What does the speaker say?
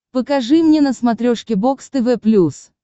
покажи мне на смотрешке бокс тв плюс